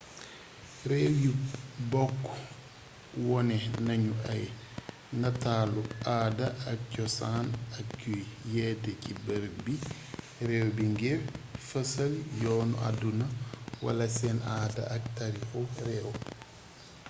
réew yi bokk wone nañu ay nataalu aada ak cosaan ak yuy yete ci bërëb biir réew bi ngir fésal yoonu àdduna wala seen aada ak tariixu réew